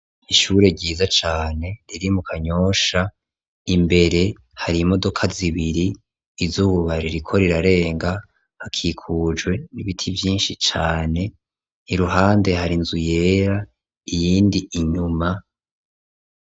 ishure ryiza cane riri mu kanyosha imbere hari imodoka zibiri izuba ririko rirarenga hakikujwe n'ibiti vyinshi cane iruhande har'inzu yera iyindi inyuma